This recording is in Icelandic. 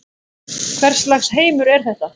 Hvers lags heimur er þetta?